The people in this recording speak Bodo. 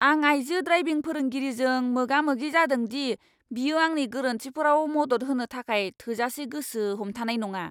आं आइजो ड्राइभिं फोरोंगिरिजों मोगा मोगि जादों दि बियो आंनि गोरोन्थिफोराव मदद होनो थाखाय थोजासे गोसो हमथानाय नङा!